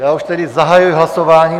Tak už tedy zahajuji hlasování.